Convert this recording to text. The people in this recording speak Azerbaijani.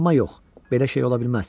Amma yox, belə şey ola bilməz.